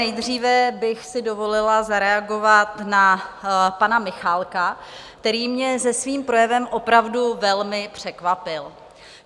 Nejdříve bych si dovolila zareagovat na pana Michálka, který mě se svým projevem opravdu velmi překvapil.